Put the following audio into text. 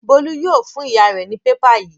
Bólú yóò fún ìyá rẹ̀ ní pépà yìí.